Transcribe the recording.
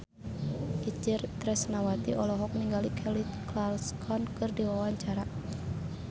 Itje Tresnawati olohok ningali Kelly Clarkson keur diwawancara